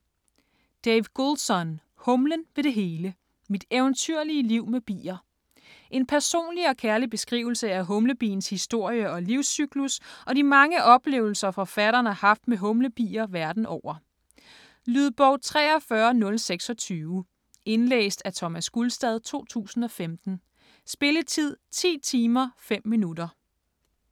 Goulson, Dave: Humlen ved det hele: mit eventyrlige liv med bier En personlig og kærlig beskrivelse af humlebiens historie og livscyklus og de mange oplevelser, forfatteren har haft med humlebier verden over. Lydbog 43026 Indlæst af Thomas Gulstad, 2015. Spilletid: 10 timer, 5 minutter.